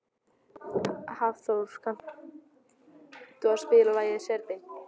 Álfþór, kanntu að spila lagið „Serbinn“?